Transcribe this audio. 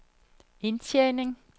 indtjening